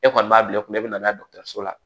E kɔni b'a bila e kunna e bɛ na n'a ye dɔgɔtɔrɔso la